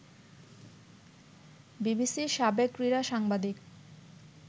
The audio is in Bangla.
বিবিসির সাবেক ক্রীড়া সাংবাদিক